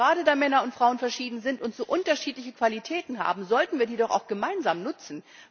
Gerade, weil Männer und Frauen verschieden sind und so unterschiedliche Qualitäten haben, sollten wir die doch auch gemeinsam nutzen.